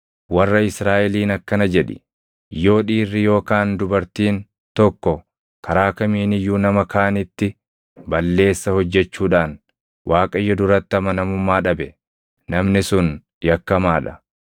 “Warra Israaʼeliin akkana jedhi: ‘Yoo dhiirri yookaan dubartiin tokko karaa kamiin iyyuu nama kaanitti balleessa hojjechuudhaan Waaqayyo duratti amanamummaa dhabe, namni sun yakkamaa dha;